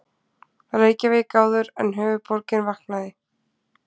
Reykjavík áður en höfuðborgin vaknaði.